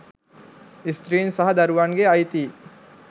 ස්ත්‍රීන් සහ දරුවන්ගේ අයිතීන්